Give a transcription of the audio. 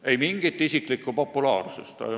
Ei mingit isiklikku populaarsust.